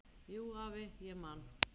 Jú, afi, ég man.